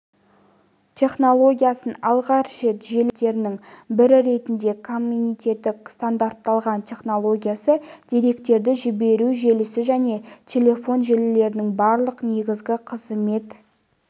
технологиясын алғаш рет желілері қызметтерінің бірі ретінде комитеті стандарттаған технологиясы деректерді жіберу желісі және телефон желілерінің барлық негізгі қызмет